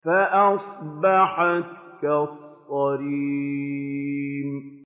فَأَصْبَحَتْ كَالصَّرِيمِ